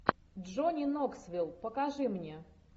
джонни ноксвилл покажи мне